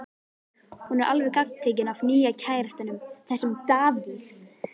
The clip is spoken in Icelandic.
Hún er alveg gagntekin af nýja kærastanum, þessum Davíð.